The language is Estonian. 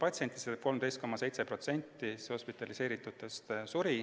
Seega suri 13,7% hospitaliseeritutest.